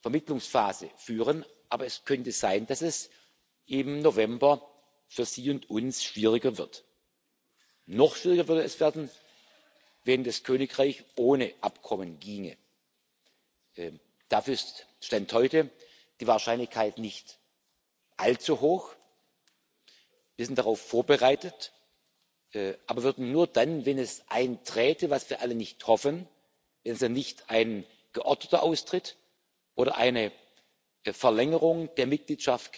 Vermittlungsphase führen, aber es könnte sein, dass es im November für Sie und uns schwieriger wird. Noch schwieriger würde es werden, wenn das Vereinigte Königreich ohne Abkommen ginge. Dafür ist Stand heute die Wahrscheinlichkeit nicht allzu hoch. Wir sind darauf vorbereitet, aber würden nur dann, wenn es einträte was wir alle nicht hoffen wenn also nicht ein geordneter Austritt oder eine Verlängerung der Mitgliedschaft